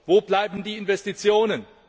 Wo bleiben die Investitionen?